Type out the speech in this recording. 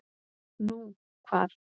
Nú, hvar?